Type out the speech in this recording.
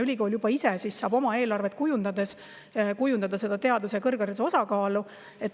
Ülikool saaks oma eelarvet ise kujundada teaduse ja kõrghariduse osakaalu.